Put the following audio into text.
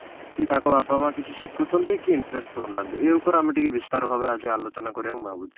କି ତାଙ୍କ ବାପା ମାଆ କିଛି ଶିଖୁଛନ୍ତି କି interest ଦଉ ନାହାନ୍ତି ଏ ଉପରେ ଆମେ ଟିକେ ବିସ୍ତାର ଭାବେ ଆଜି ଆଲୋଚନା କରିବା ମୁଁ ଭାବୁଛି